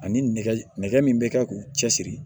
Ani nɛgɛ min bɛ kɛ k'u cɛsiri